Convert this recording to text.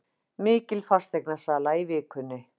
Mikil fasteignasala í vikunni